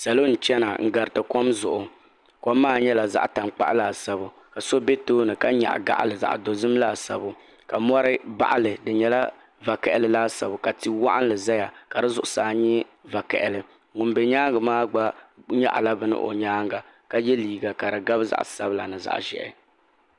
Salo n chena n gariti kom zuɣu kom maa nyɛla zaɣa tankpaɣu laasabu ka so be tooni ka nyaɣi gaɣa dozim laasabu ka mori baɣali di nyɛla vakahali laasabu ka ti'waɣinli zaya ka di zuɣusaa nyɛ vakahali ŋun be nyaanga maa gba nyaɣala bini o nyaanga ka ye liiga ka di gabi zaɣa sabla ni zaɣa ʒehi.